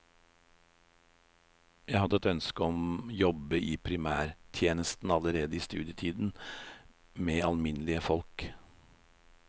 Jeg hadde et ønske om jobbe i primærhelsetjenesten allerede i studietiden, med alminnelig folk.